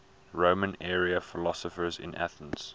roman era philosophers in athens